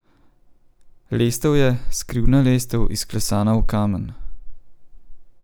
Lestev je, skrivna lestev, izklesana v kamen.